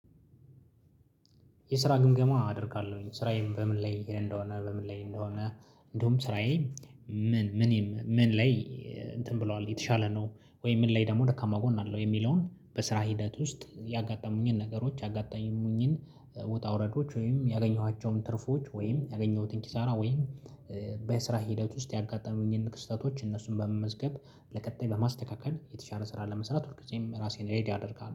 የስራ ግምገማ አደርጋለሁኝ ስራዬን በምን ላይ እንደሆነ በምን ላይ እንደሆነ። እንደውም ስራዬ ምን ምን ምን ላይ እንትን ብሏል የተሻለ ነው? ወይ ምን ላይ ደግሞ ደካማ ጎን አለው የሚለውን በስራ ሂደት ውስጥ ያጋጠሙኝን ነገሮች ያጋጠሙኝን ውጣ ውረዶች ወይም ያገኘኋቸውን ትርፎች ወይም ያገኘሁትን ኪሳራ ወይም በስራ ሂደት ውስጥ ያጋጠመኝን ክስተቶች እነሱን በመመዝገብ ለቀጣይ በማስተካከል የተሻለ ስራ ለመስራት ሁልጊዜም ራሴን ሬዲ አደርጋለሁ